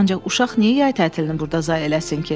Ancaq uşaq niyə yay tətilini burda zay eləsin ki?